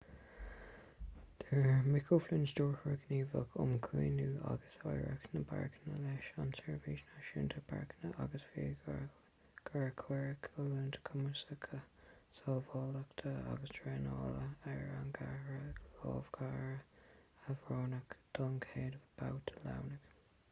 deir mick o'flynn stiúrthóir gníomhach um chaomhnú agus oidhreacht na bpáirceanna leis an tseirbhís náisiúnta páirceanna agus fiadhúlra gur cuireadh oiliúint chuimsitheach sábháilteachta agus traenála ar an gceathrar lámhachóirí a roghnaíodh don chéad bhabhta lámhaigh